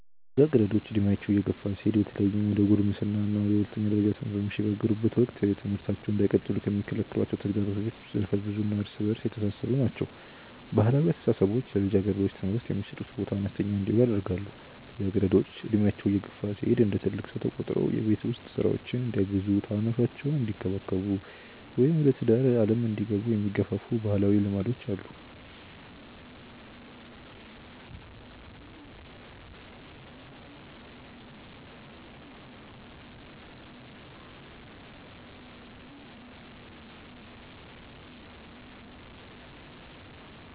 ልጃገረዶች ዕድሜያቸው እየገፋ ሲሄድ በተለይም ወደ ጉልምስና እና ወደ ሁለተኛ ደረጃ ትምህርት በሚሸጋገሩበት ወቅት ትምህርታቸውን እንዳይቀጥሉ የሚከለክሏቸው ተግዳሮቶች ዘርፈ-ብዙ እና እርስ በእርስ የተሳሰሩ ናቸው። ባህላዊ አስተሳሰቦች ለልጃገረዶች ትምህርት የሚሰጡት ቦታ አነስተኛ እንዲሆን ያደርጋሉ። ልጃገረዶች ዕድሜያቸው እየገፋ ሲሄድ እንደ ትልቅ ሰው ተቆጥረው የቤት ውስጥ ሥራዎችን እንዲያግዙ፣ ታናናሾቻቸውን እንዲንከባከቡ ወይም ወደ ትዳር ዓለም እንዲገቡ የሚገፋፉ ባህላዊ ልማዶች አሉ።